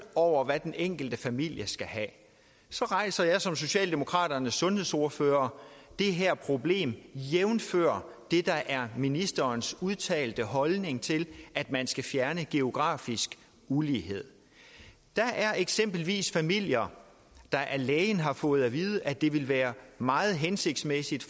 over hvad den enkelte familie skal have så rejser jeg som socialdemokraternes sundhedsordfører det her problem jævnfør det der er ministerens udtalte holdning til at man skal fjerne geografisk ulighed der er eksempelvis familier der af lægen har fået at vide at det vil være meget hensigtsmæssigt